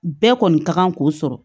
Bɛɛ kɔni kan k'o sɔrɔ